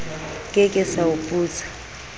ke ke sa o putsa